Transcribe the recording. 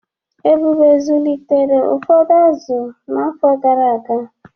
Ebube zụlitere ụfọdụ azụ n’afọ gara aga.